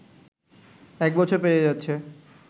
এক বছর পেরিয়ে যাচ্ছে